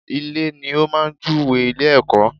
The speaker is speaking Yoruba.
Ilè ni ó máa jú we ilé -èkó